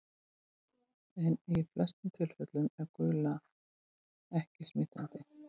En í flestum tilfellum er gula ekki smitandi.